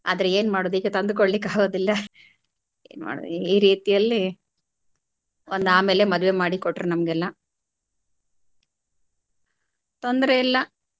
ಆದ್ರೆ ಏನ್ ಮಾಡೋದು ಈಗ ತಂದುಕೊಡ್ಲಿಕ್ಕೆ ಆಗೋದಿಲ್ಲ ಏನ್ ಮಾಡೋದು ಈ ರೀತಿಯಲ್ಲಿ ಒಂದ್ ಆಮೇಲೆ ಮದ್ವೆ ಮಾಡಿ ಕೊಟ್ರು ನಮಗೆಲ್ಲಾ ತೊಂದ್ರೆ ಇಲ್ಲ.